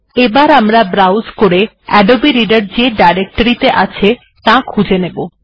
এবার আমরা ব্রাউজ করে আদবে রিডার যে ডিরেক্টরি ত়ে আছে তার স্থান খুঁজে নেব